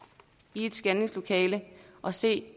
i et scanningslokale og se